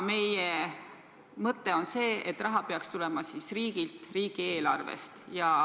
Meie mõte on, et see raha peaks tulema riigilt, riigieelarvest.